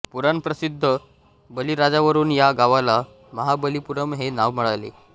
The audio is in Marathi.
पुराणप्रसिद्ध बलीराजावरून या गावाला महाबलीपुरम हे नाव मिळाले